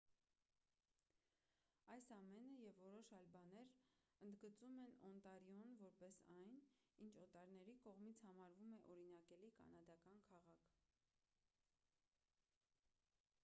այս ամենը և որոշ այլ բաներ ընդգծում են օնտարիոն որպես այն ինչ օտարների կողմից համարվում է օրինակելի կանադական քաղաք